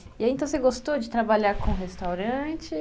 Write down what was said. E aí, então, você gostou de trabalhar com restaurante?